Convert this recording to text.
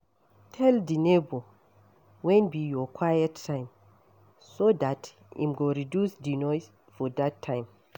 Tell di neighbour when be your quiet time so dat im go reduce di noise for that time